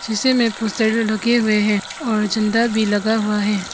हिस्से मे पोस्टर लगे हुए है और झंडा भी लगा हुआ है।